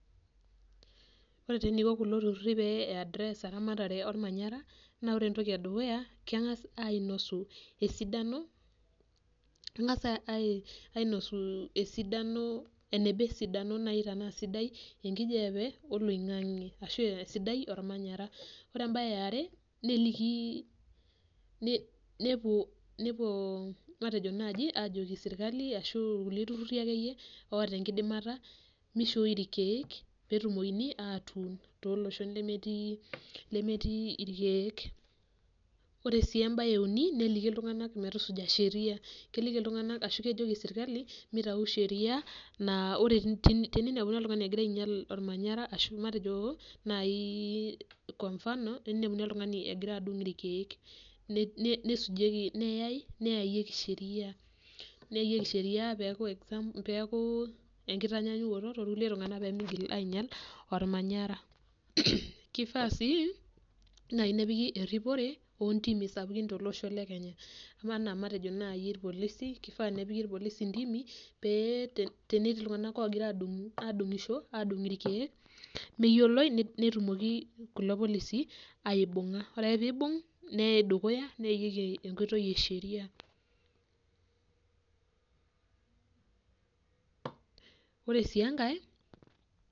Ore enaiko kunatokitin pai address esiai ormanyara na kengasa alimu esidano emgasa ainosu eneba enkijape oloingangi ashu esidai ormanyara ore embae eare nepuo ajoki serkali serkali ashu irkulie tururi ake loata enkidimata mishoi irkiek tolosho lemetii irkiek ore embae euni na keliki ltunganak metusuja serkali naltau sheria na teninepu oltungani egira ainya ormanyara matejo eninepuni oltungani ogira adung irkiek n yayieki sheria torkulie tunganak pemeinyal ormanyara kifaa si nepiki eripore tolosho le Kenya matejo ana nai irpolisi intimi paa ore netii ltunganak odungito irkiek netumoki irpolisi aibunga ore peibungi neyayieki enkoitoi esheria ore si enkae